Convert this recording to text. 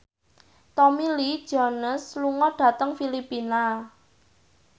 Tommy Lee Jones lunga dhateng Filipina